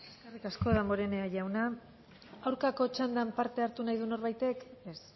eskerrik asko damborenea jauna aurkako txandan parte hartu nahi du norbaitek ez